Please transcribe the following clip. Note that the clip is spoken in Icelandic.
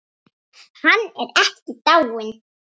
Hann er ekki dáinn.